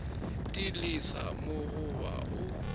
di lesa mo goba o